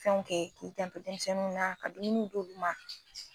Fɛn kɛ i janto demisɛnniw na kabini u don kuma.